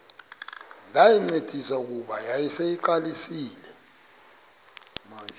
ndayincedisa kuba yayiseyiqalisile